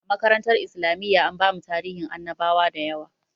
A makarantar islamiyya an bamu tarihin annabawa dayawa